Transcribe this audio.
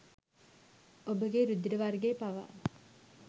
ඔබගේ රුධිර වර්ගය පවා